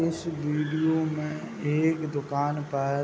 इस वीडियो में एक दुकान का --